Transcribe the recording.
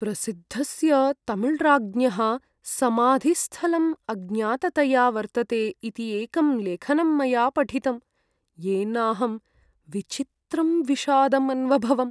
प्रसिद्धस्य तमिळ्राज्ञः समाधिस्थलं अज्ञाततया वर्तते इति एकं लेखनं मया पठितं, येनाहं विचित्रं विषादम् अन्वभवम्।